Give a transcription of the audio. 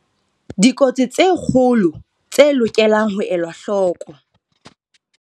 Dikotsi tse kgolo tse lokelang ho elwa hloko.